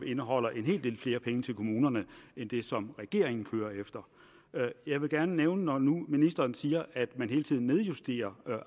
indeholder en hel del flere penge til kommunerne end den som regeringen kører efter jeg vil gerne når nu ministeren siger at man hele tiden nedjusterer